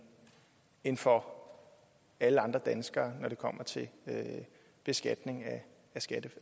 end for alle andre danskere når det kommer til beskatning